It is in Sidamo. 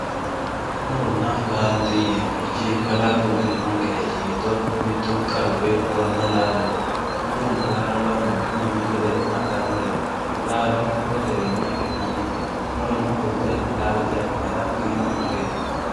Muronna laalo murona laalote yinemorichi kalaqu elinonkerich giddo mittu qaru coyi muronna laalote murona laalo lamunku mimituu ledo hadhanoreet laalo murote wiin afinani murono qolte laalote afinara kaima coyit.